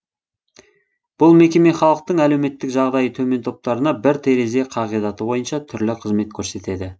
бұл мекеме халықтың әлеуметтік жағдайы төмен топтарына бір терезе қағидаты бойынша түрлі қызмет көрсетеді